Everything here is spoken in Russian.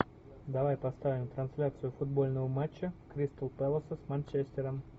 давай поставим трансляцию футбольного матча кристалл пэласа с манчестером